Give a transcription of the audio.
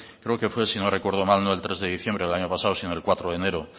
creo que fue si no recuerdo mal no el tres de diciembre del año pasado sino el cuatro de enero